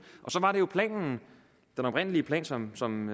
og så var det jo planen den oprindelige plan som som